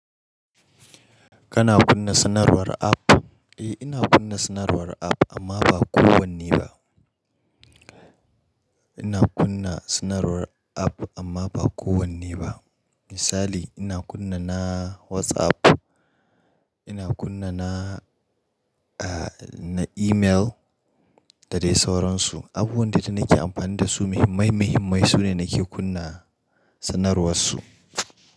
Kana kunna sanarwar app? Eh ina kunna sanarwar app amma ba kowanne ba. Ina kunna sanarwar app amma ba kowanne ba. Misali ina kunna na WhatsApp, ina kunna na, ah na email da dai sauransu. Abubuwan da danake amfani da su muhimmai muhimmai sune nake kunna sanarwarsu.